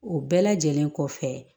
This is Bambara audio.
O bɛɛ lajɛlen kɔfɛ